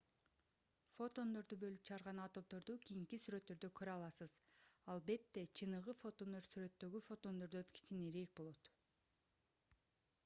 фотондорду бөлүп чыгарган атомдорду кийинки сүрөттөрдө көрө аласыз албетте чыныгы фотондор сүрөттөгү фотондордон кичинерээк болот